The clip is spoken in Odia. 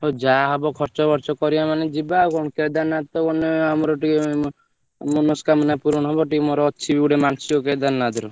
ହଉ ଯାହାହବ ଖର୍ଚ ବର୍ଚ କରିଆ ନହେଲେ ଯିବା ଆଉ କଣ କେଦାରନାଥ ତ ଗଲେ ଆମର ଟିକେ ମନସ୍କାମନା ପୂରଣ ହବ ଟିକେ ମୋର ଅଛିବି ଗୋଟେ ମାନସିକ କେଦାରନାଥର।